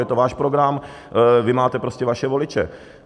Je to váš program, vy máte prostě vaše voliče.